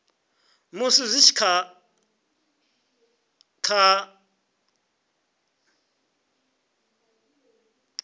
musi zwi tshi da kha